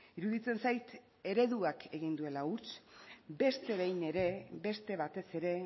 iruditzen zait ereduak egin duela huts beste behin ere beste batez ere